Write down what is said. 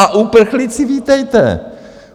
A uprchlíci, vítejte!